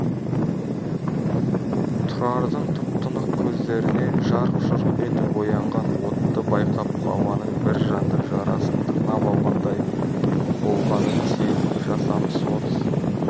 тұрардың тұп-тұнық көздерінен жарқ-жұрқ етіп оянған отты байқап баланың бір жанды жарасын тырнап алғандай болғанын сезіп жасамыс орыс